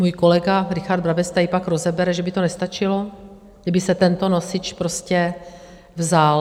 Můj kolega Richard Brabec tady pak rozebere, že by to nestačilo, kdyby se tento nosič prostě vzal.